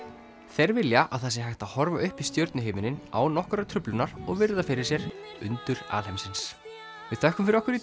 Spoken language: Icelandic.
þeir vilja að það sé hægt að horfa upp í stjörnuhimininn án nokkurrar truflunar og virða fyrir sér undur alheimsins við þökkum fyrir okkur í